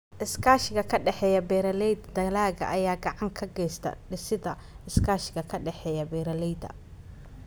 Iskaashiga ka dhexeeya Beeralayda Dalagga ayaa gacan ka geysta dhisidda iskaashiga ka dhexeeya beeralayda.